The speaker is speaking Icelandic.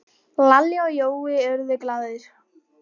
Lalli og Jói urðu glaðir.